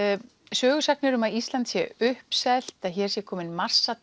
sögusagnir um að Ísland sé uppselt að hér sé kominn